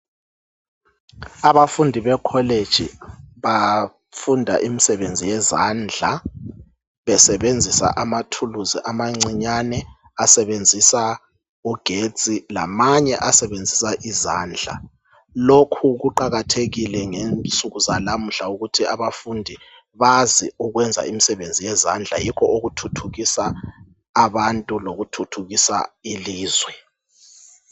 Abafundi be college bafunda imsebenzi yezandla besebenzisa ama tools abancinyane, asebenzisa ugetsi lamanye asebenzisa izandla. Lokhu kuqakathekile ngensuku zalamuhla ukuthi abafundi bazi ukwenza imsebenzi yezandla. Yikho okuthuthukisa abantu lokuthuthukisa ilizwe.